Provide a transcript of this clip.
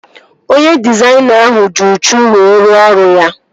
Onye dịzaịna ahụ ji uchu wee ruo ọrụ ya